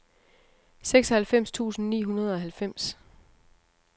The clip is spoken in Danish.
seksoghalvfems tusind ni hundrede og halvfems